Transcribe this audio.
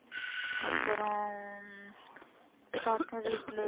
அப்புறம் தாத்தா வீட்ல